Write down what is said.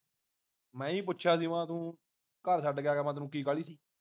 ਮੈਂ ਈ ਪੁੱਛਿਆ ਸੀ ਮੈਂ ਤੂੰ ਘਰ ਛੱਡ ਕੇ ਆ ਗਿਆ ਮੈਂ ਤੈਨੂੰ ਕੀ ਕਾਹਲੀ ਸੀ